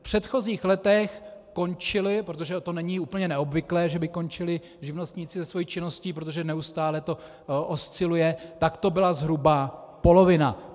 V předchozích letech končili, protože to není úplně neobvyklé, že by končili živnostníci se svou činností, protože neustále to osciluje, tak to byla zhruba polovina.